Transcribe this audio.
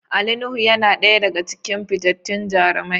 Ali Nuhu yana daya daga cikin fitattun jarumai.